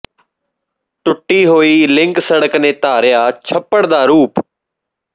ਟੁੱਟੀ ਹੋਈ ਲਿੰਕ ਸੜਕ ਨੇ ਧਾਰਿਆ ਛੱਪੜ ਦਾ ਰੂਪ